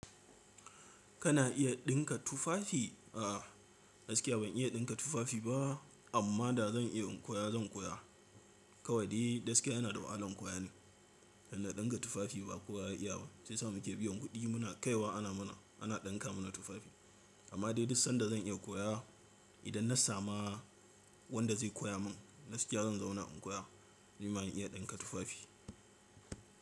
Kana iya ɗinka tufafi? A'a, gaskiya ban iya ɗinka tufafi ba amma da zan iya in koya zan koya. Kawai dai gaskiya yana da wahalan koya ne. Idan na ɗinka tufafi ba kowa ya iya ba sai shiya mu ke biyan kuɗi muna kai wa ana mana ana ɗinka mana tufafi. Amma dai duk sanda zan iya koya idan na samu wanda zai koya min gaskiya zan zauna in koya domin ba mu iya ɗinka tufafi.